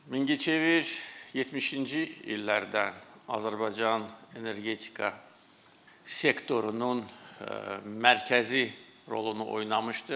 Mingəçevir 70-ci illərdən Azərbaycan energetika sektorunun mərkəzi rolunu oynamışdır.